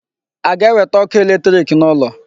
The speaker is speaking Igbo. A ga-ewete ọkụ electric n'ụlọ?